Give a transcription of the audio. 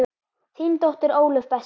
Þín dóttir Ólöf Bessa.